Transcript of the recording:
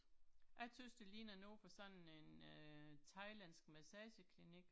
Jeg tøvs det ligner noget fra sådan en øh thailandsk massageklinik